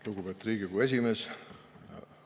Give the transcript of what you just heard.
Lugupeetud Riigikogu esimees!